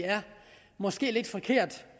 måske er lidt forkert